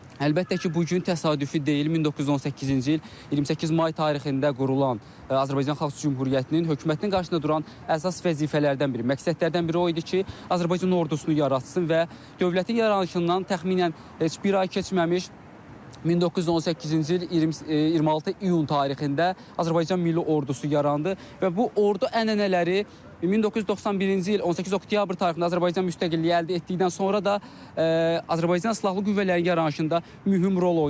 Əlbəttə ki, bu gün təsadüfi deyil, 1918-ci il 28 may tarixində qurulan Azərbaycan Xalq Cümhuriyyətinin hökumətinin qarşısında duran əsas vəzifələrdən biri, məqsədlərdən biri o idi ki, Azərbaycan ordusunu yaratsın və dövlətin yaranışından təxminən heç bir ay keçməmiş 1918-ci il 26 iyun tarixində Azərbaycan Milli Ordusu yarandı və bu ordu ənənələri 1991-ci il 18 oktyabr tarixində Azərbaycan müstəqilliyi əldə etdikdən sonra da Azərbaycan silahlı qüvvələrinin yaranışında mühüm rol oynadı.